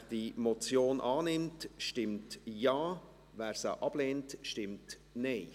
Wer diese Motion annimmt, stimmt Ja, wer sie ablehnt, stimmt Nein.